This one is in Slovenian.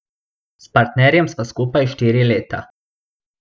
S partnerjem sva skupaj štiri leta.